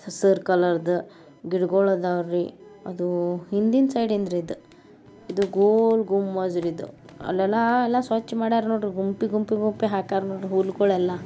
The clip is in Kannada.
ಹಸಿರ್ ಕಲರ್ದು ಗಿಡಗೊಳ್ ಅದಾವ್ರಿ ಅದೂ ಹಿಂದಿನ್ ಸೈಡೀನ್ ದ್ರಿ . ಇದು ಗೋಲ್ ಗುಂಬಜ್ ರೀ ಇದ್ಅ ಅಲ್ಲೆಲ್ಲ ಎಲ್ಲ ಸ್ವಚ್ಛ ಮಾಡವ್ರೆ ನೋಡ್ರಿ ಗುಂಪಿ ಗುಂಪಿ ಗುಂಪಿ ಹಾಕ್ಯಾರ್ರಿ ನೋಡಿ ಹುಲ್ಲುಗಳೆಲ್ಲ.